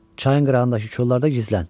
Çayın qırağındakı kollarda gizlən.